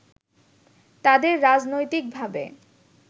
তাদের রাজনৈতিকভাবে